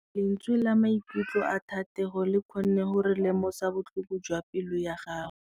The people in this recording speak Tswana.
Lentswe la maikutlo a Thategô le kgonne gore re lemosa botlhoko jwa pelô ya gagwe.